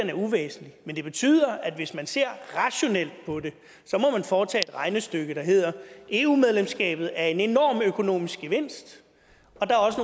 er uvæsentlig men det betyder at hvis man ser rationelt på det så må man foretage et regnestykke der hedder eu medlemskabet er en enorm økonomisk gevinst